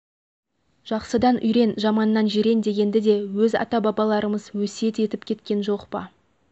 жақсыдан үйрен жаманнан жирен дегенді де өз ата-бабаларымыз өсиет етіп кеткен жоқ па